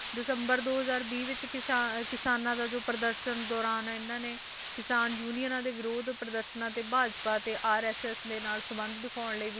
ਦਸੰਬਰ ਦੋ ਹਜ਼ਾਰ ਵੀਹ ਵਿੱਚ ਕਿਸਾ~ ਕਿਸਾਨਾਂ ਦਾ ਜੋ ਪ੍ਰਦਰਸ਼ਨ ਦੌਰਾਨ ਇਹਨਾਂ ਨੇ ਕਿਸਾਨ ਯੂਨੀਅਨਾਂ ਦੇ ਵਿਰੋਧ ਪ੍ਰਦਰਸ਼ਨਾਂ ਤੇ ਭਾਜਪਾ ਤੇ RSS ਦੇ ਨਾਲ ਸੰਬੰਧ ਦਿਖਾਉਣ ਲਈ